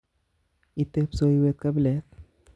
Itee kipsoiwet kabilet